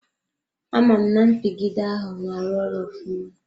Amam na mpigide ahụ na-arụ ọrụ ofụma.